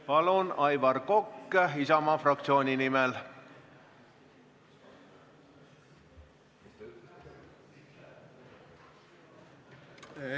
Palun, Aivar Kokk Isamaa fraktsiooni nimel!